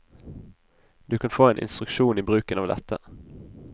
Du kan få en instruksjon i bruken av dette.